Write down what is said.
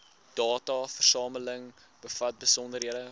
dataversameling bevat besonderhede